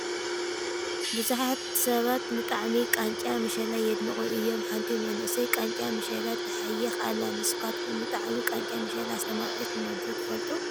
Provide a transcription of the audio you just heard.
ብዙሓት ሰባት ንጣዕሚ ቃንጫ መሸላ የድንቑ እዮም፡፡ ሓንቲ መንእሰይ ቃንጫ መሸላ ትሓይኽ ኣላ፡፡ ንሳኻትኩም ንጣዕሚ ቃንጫ መሸላ ኣስተማቒርኩምዎ ዶ ትፈልጡ?